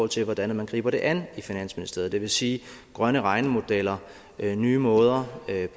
til hvordan man griber det an i finansministeriet det vil sige grønne regnemodeller nye måder